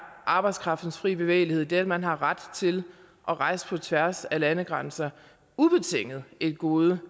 arbejdskraftens fri bevægelighed det at man har ret til at rejse på tværs af landegrænser ubetinget et gode